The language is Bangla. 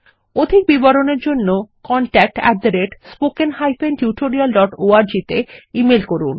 অধিক বিবরণের জন্য contactspoken tutorialorg তে ইমেল করুন